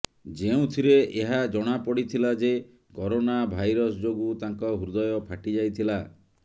ଯେଉଁଥିରେ ଏହା ଜଣାପଡିଥିଲା ଯେ କରୋନା ଭାଇରସ୍ ଯୋଗୁଁ ତାଙ୍କ ହୃଦୟ ଫାଟି ଯାଇଥିଲା